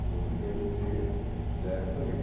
Foi o primeiro que veio dessa família.